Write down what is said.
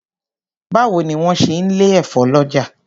Báwo ni wọ́n ń ṣe lè efo lọ́jà.